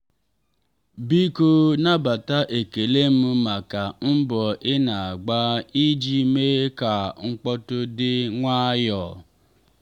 biko nabata ekele m maka mbọ ị na-agba iji mee ka mkpọ́tụ̀ dị nwayọọ.